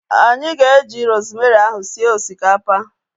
Anyị ga-eji rosemary ahu sie osikapa